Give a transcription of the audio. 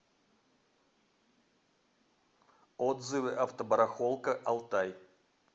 отзывы автобарахолка алтай